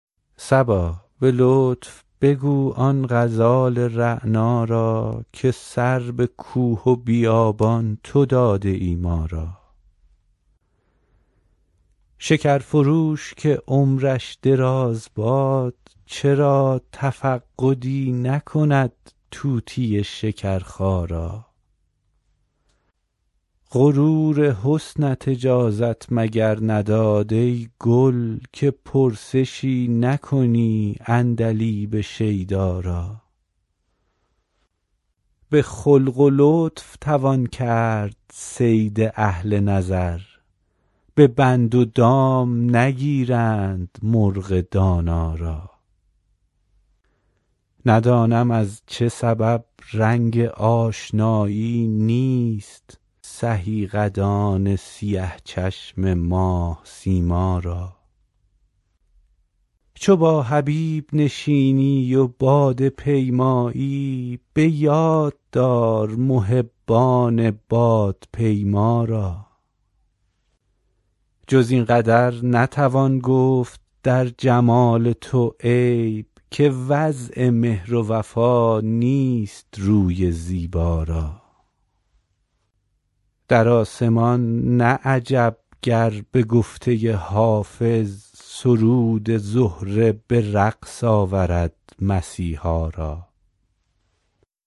صبا به لطف بگو آن غزال رعنا را که سر به کوه و بیابان تو داده ای ما را شکر فروش که عمرش دراز باد چرا تفقدی نکند طوطی شکرخا را غرور حسنت اجازت مگر نداد ای گل که پرسشی نکنی عندلیب شیدا را به خلق و لطف توان کرد صید اهل نظر به بند و دام نگیرند مرغ دانا را ندانم از چه سبب رنگ آشنایی نیست سهی قدان سیه چشم ماه سیما را چو با حبیب نشینی و باده پیمایی به یاد دار محبان بادپیما را جز این قدر نتوان گفت در جمال تو عیب که وضع مهر و وفا نیست روی زیبا را در آسمان نه عجب گر به گفته حافظ سرود زهره به رقص آورد مسیحا را